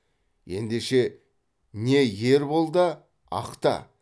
ендеше не ер бол да ақта